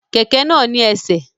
Kẹkẹ náà ni ẹsẹ̀.